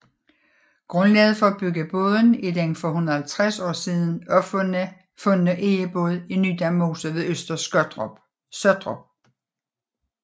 Grundlaget for at bygge båden er den for 150 år siden fundne egebåd i Nydam Mose ved Øster Sottrup